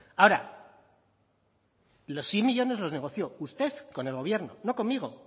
ahora los cien millónes los negoció usted con el gobierno no conmigo